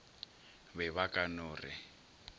be ba ka no re